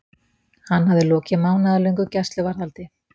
Hann hafði lokið mánaðarlöngu gæsluvarðhaldi.